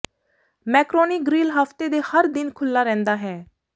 macaroni Grill ਹਫ਼ਤੇ ਦੇ ਹਰ ਦਿਨ ਖੁੱਲ੍ਹਾ ਰਹਿੰਦਾ ਹੈ